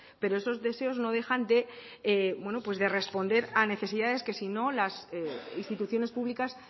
pero esos deseos no dejan de responder a necesidades que si no las instituciones públicas